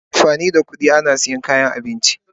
Ana amfani da kudi ana siyan kayan abinci.